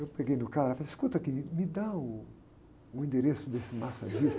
Eu peguei no cara e falei, escuta aqui, me dá uh, o endereço desse massagista aí.